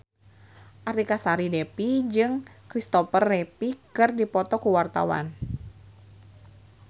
Artika Sari Devi jeung Kristopher Reeve keur dipoto ku wartawan